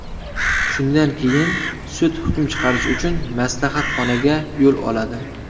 Shundan keyin sud hukm chiqarish uchun maslahatxonaga yo‘l oladi.